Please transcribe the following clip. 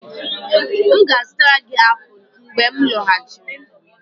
M ga-azụtara gị apụl mgbe m lọghachiri.